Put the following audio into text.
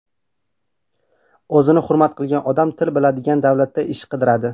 O‘zini hurmat qilgan odam til biladigan davlatda ish qidiradi.